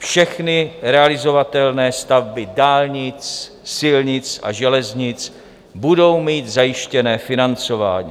Všechny realizovatelné stavby dálnic, silnic a železnic budou mít zajištěné financování.